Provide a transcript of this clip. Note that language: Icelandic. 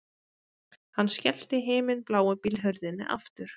Hann skellti himinbláu bílhurðinni aftur